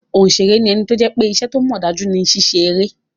Òṣèré ní ẹni tó jẹ́ pé iṣẹ́ tó mọ̀ dájú ni ṣíṣe eré